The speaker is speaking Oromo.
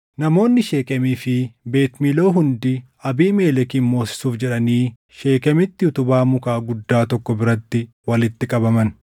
Namoonni Sheekemii fi Beet Miiloo hundi Abiimelekin moosisuuf jedhanii Sheekemitti utubaa mukaa guddaa tokko biratti walitti qabaman.